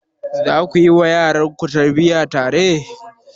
Za ku yi wa yaranku tarbiyya tare?